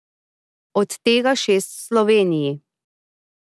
Od tega šest v Sloveniji.